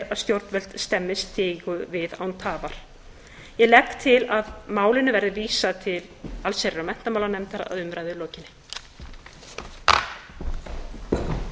að stjórnvöld stemmi stigu við án tafar ég legg til að málinu verði vísað til allsherjar og menntamálanefndar að umræðu lokinni